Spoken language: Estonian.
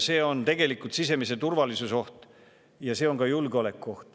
Tegelikult on see oht sisemisele turvalisusele ja ka julgeolekule.